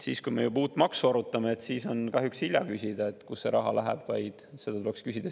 Siis, kui me uut maksu arutame, on kahjuks hilja küsida, kus see raha läheb.